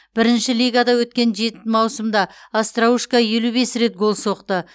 бірінші лигада өткен жеті маусымда остроушко елу бес рет гол соқты